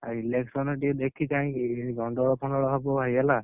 ଆଉ election ଟିକେ ଦେଖି ଚାହିଁକି ଯେମିତି ଗଣ୍ଡଗୋଳ ଫଣ୍ଡଗୋଳ ହବ ଭାଇ ହେଲା।